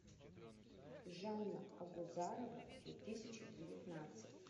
жанна агузарова две тысячи девятнадцать